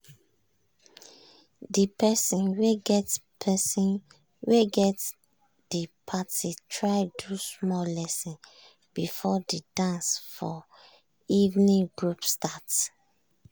de person wey get person wey get de parti try do small lesson before de dance for evening group start.